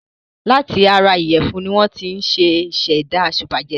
Láti ara ìyẹ̀fún ni wọ́n ti ṣẹ̀dá sìpàgẹ́tì.